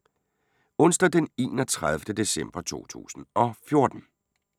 Onsdag d. 31. december 2014